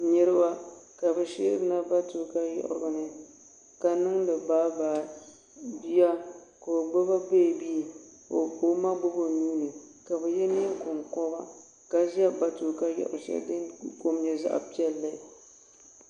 Niriba ka bɛ sheerina matuuka yiɣirigu ni ka niŋdi bayi bayi bia ka o gbibi beebi ka o ma gbibi o nuuni ka bɛ ye niɛn'konkoba ka ʒɛ matuuka yiɣirigu sheli din kom nyɛ zaɣa piɛlli.